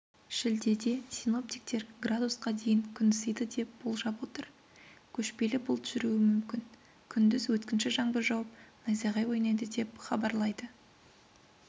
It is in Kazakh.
шілдеде синоптиктер градусқа дейін күн ысиды деп болжап отыр көшпелі бұлт жүруі мүмкін күндіз өткінші жаңбыр жауып найзағай ойнайды деп хабарлайды